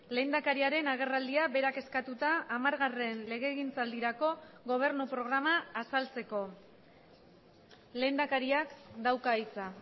lehendakariaren agerraldia berak eskatuta hamargarren legegintzaldirako gobernu programa azaltzeko lehendakariak dauka hitza